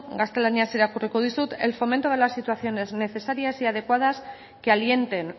gaztelaniaz irakurriko dizut el fomento de la situaciones necesarias y adecuadas que alienten